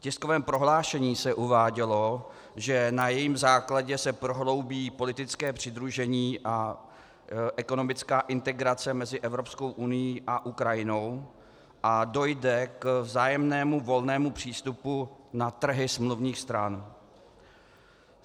V tiskovém prohlášení se uvádělo, že na jejím základě se prohloubí politické přidružení a ekonomická integrace mezi Evropskou unií a Ukrajinou a dojde k vzájemnému volnému přístupu na trhy smluvních stran.